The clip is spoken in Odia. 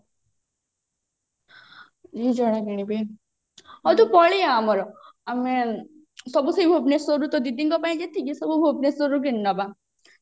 ମୁଁ କିଣିବି ହଉ ତୁ ପଳେଇଆ ଆମର ସବୁ ସେଇ ଭୁବନେଶ୍ଵରରୁ ତୋ ଦିଦିଙ୍କ ପାଇଁ ଯେତିକି ସବୁ ଭୁବନେଶ୍ଵରରୁ କିଣି ନବା